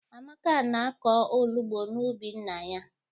Amaka na-akọ onugbu n'ubi nna ya